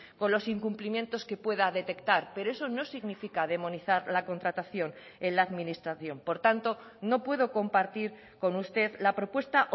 con los incumplimientos que pueda detectar pero eso no significa demonizar la contratación en la administración por tanto no puedo compartir con usted la propuesta